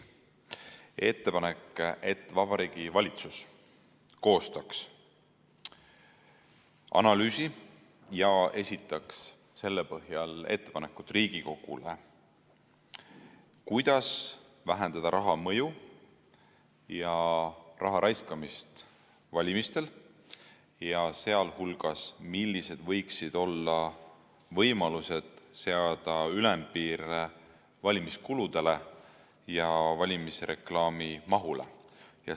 Ettepanek on, et Vabariigi Valitsus koostaks analüüsi ja esitaks selle põhjal ettepanekud Riigikogule, kuidas vähendada raha mõju ja raha raiskamist valimistel, sh millised võiksid olla võimalused seada ülempiir valimiskuludele ja valimisreklaami mahule.